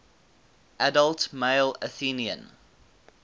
adult male athenian